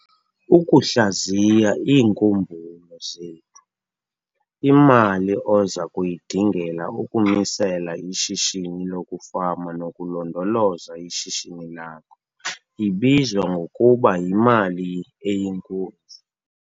Ukuhlaziya iinkumbulo zethu- Imali oza kuyidingela ukumisela ishishini lokufama nokulondoloza ishishini lakho ibizwa ngokuba yimali eyinkunzi.